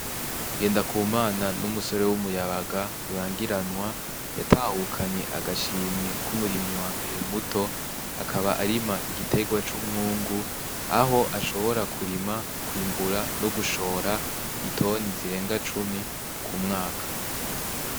Ngendakumana n'umusore w'umuyabaga rurangiranwa yatahukanye agashimwe k'umurimyi wa mbere muto akaba arima igitegwa c'umwungu aho ashobora kurima kwimbura no gushora itoni zirenga cumi ku mwaka.